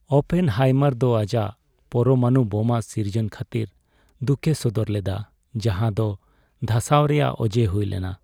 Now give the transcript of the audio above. Oppenheimer ᱫᱚ ᱟᱡᱟᱜ ᱯᱚᱨᱢᱟᱱᱩ ᱵᱳᱢᱟ ᱥᱤᱨᱡᱚᱱ ᱠᱷᱟᱹᱛᱤᱨ ᱫᱩᱠᱮ ᱥᱚᱫᱚᱨ ᱞᱮᱫᱟ ᱡᱟᱦᱟᱸ ᱫᱚ ᱫᱷᱟᱥᱟᱣ ᱨᱮᱭᱟᱜ ᱚᱡᱮ ᱦᱩᱭ ᱞᱮᱱᱟ ᱾